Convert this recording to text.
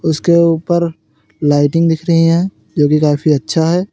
उसके ऊपर लाइटिंग दिख रही हैं जो कि काफी अच्छा है।